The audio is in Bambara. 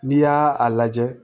N'i y'a a lajɛ